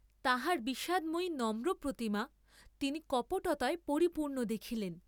তাহার বিষাদময়ী নম্রপ্রতিমা তিনি কপটতায় পরিপূর্ণ দেখিলেন।